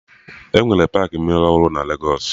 Enwere paakị mmiri ọhụrụ na Legos